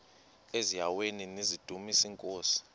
eziaweni nizidumis iinkosi